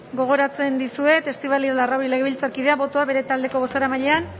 gogoratzen dizuet estibaliz larrauri legebiltzarkideak botoa bere taldeko bozeramailean